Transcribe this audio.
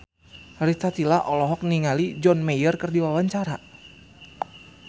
Rita Tila olohok ningali John Mayer keur diwawancara